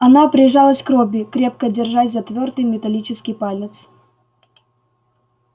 она прижалась к робби крепко держась за твёрдый металлический палец